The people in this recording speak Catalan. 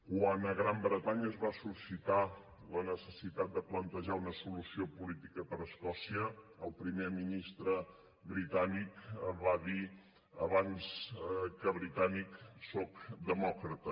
quan a la gran bretanya es va suscitar la necessitat de plantejar una solució política per a escòcia el primer ministre britànic va dir abans que britànic soc demòcrata